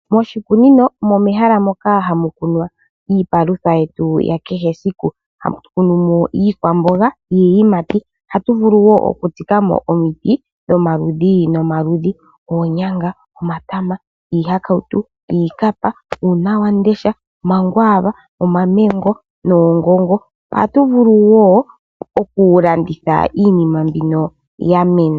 Moshikunino omo mehala moka hamu kunwa iipalutha yetu ya kehe esiku. Hatu kunu mo iikwamboga niiyimati, ohatu vulu wo oku tsikamo omiti dho maludhi nomaludhi. Oonyanga, omatama, iihakautu, iikapa, uunawamundesha, omagvaava, omamango, oongongo. Ohatu vulu wo oku landitha iinima mbino ya mena.